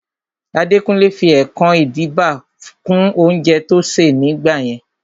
Adekunle fi ẹkan-idiba kún oúnjẹ tó ṣè ní gbà yẹn